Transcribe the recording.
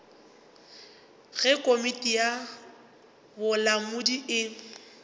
ge komiti ya bolamodi e